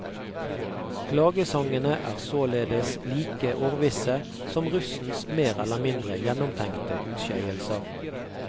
Klagesangene er således like årvisse som russens mer eller mindre gjennomtenkte utskeielser.